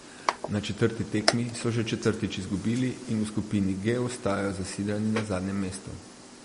Na četrti tekmi so še četrtič izgubili in v skupini G ostajajo zasidrani na zadnjem mestu.